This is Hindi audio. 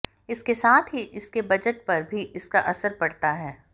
इसके साथ ही इसके बजट पर भी इसका असर पड़ता है